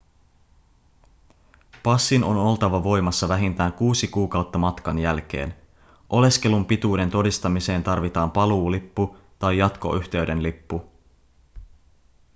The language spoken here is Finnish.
passin on oltava voimassa vähintään 6 kuukautta matkan jälkeen oleskelun pituuden todistamiseen tarvitaan paluulippu tai jatkoyhteyden lippu